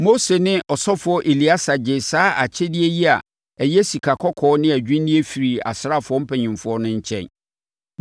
Mose ne ɔsɔfoɔ Eleasa gyee saa akyɛdeɛ yi a ɛyɛ sikakɔkɔɔ ne adwinneɛ firii asraafoɔ mpanimfoɔ no nkyɛn.